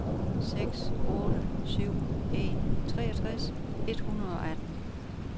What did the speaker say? seks otte syv en treogtres et hundrede og atten